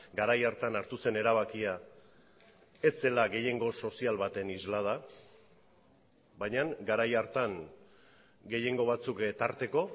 garai hartan hartu zen erabakia ez zela gehiengo sozial baten islada baina garai hartan gehiengo batzuk tarteko